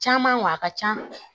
Caman wa a ka can